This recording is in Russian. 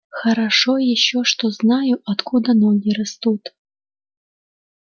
хорошо ещё что знаю откуда ноги растут